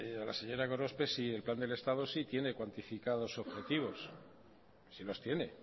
a la señora gorospe el plan del estado sí tiene cuantificado sus objetivos sí los tiene